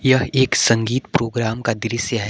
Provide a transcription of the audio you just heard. यह एक संगीत प्रोग्राम का दृश्य है।